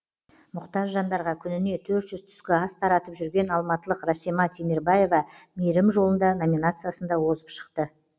мұқтаж жандарға күніне төрт жүз түскі ас таратып жүрген алматылық расима темербаева мейірім жолында номинациясында озып шықты